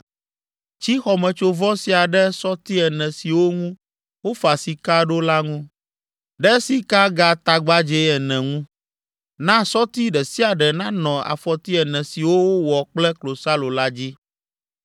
Tsi xɔmetsovɔ sia ɖe sɔti ene siwo ŋu wofa sika ɖo la ŋu, ɖe sikagatagbadzɛ ene ŋu. Na sɔti ɖe sia ɖe nanɔ afɔti ene siwo wowɔ kple klosalo la dzi.